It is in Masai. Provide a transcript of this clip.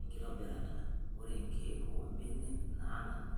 Enkitobirata:Ore nkiek oo mbenek naanana